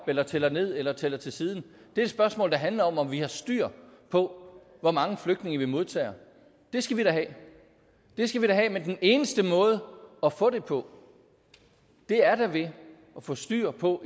eller tæller ned eller tæller til siden det er et spørgsmål der handler om om vi har styr på hvor mange flygtninge vi modtager og det skal vi da have det skal vi have men den eneste måde at få det på er da ved at få styr på